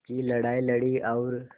की लड़ाई लड़ी और